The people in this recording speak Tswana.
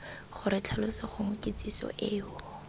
gore tlhaloso gongwe kitsiso eo